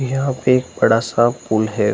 यहाँ पे एक बड़ा-सा पुल है ।